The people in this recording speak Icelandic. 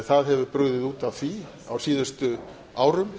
það hefur brugðið út af því á síðustu árum